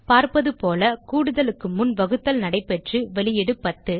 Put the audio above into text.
பார்ப்பதுபோல கூடுதலுக்கு முன் வகுத்தல் நடைப்பெற்று வெளியீடு 10